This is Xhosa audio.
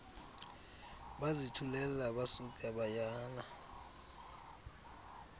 bazithulela basuka bayana